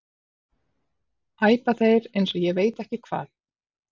æpa þeir eins og ég veit ekki hvað.